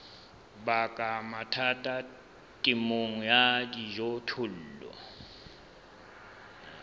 baka mathata temong ya dijothollo